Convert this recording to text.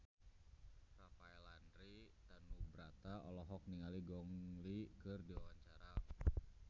Rafael Landry Tanubrata olohok ningali Gong Li keur diwawancara